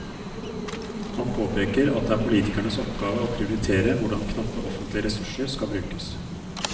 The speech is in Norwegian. Han påpeker at det er politikernes oppgave å prioritere hvordan knappe offentlige ressurser skal brukes.